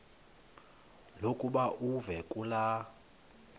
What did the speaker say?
lokuba uve kulaa